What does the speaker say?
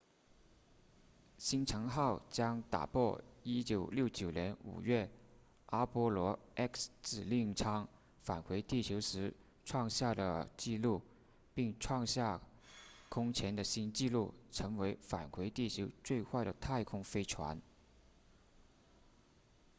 星尘号将打破1969年5月阿波罗 x 指令舱返回地球时创下的纪录并创下空前的新纪录成为返回地球最快的太空飞船